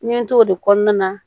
N ye n t'o de kɔnɔna na